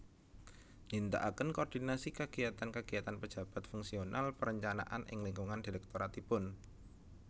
Nindakaken koordinasi kegiyatan kegiyatan pejabat fungsional perencanaan ing lingkungan direktoratipun